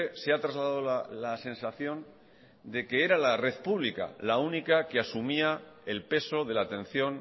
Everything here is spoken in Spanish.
se ha trasladado la sensación de que era la red pública la única que asumía el peso de la atención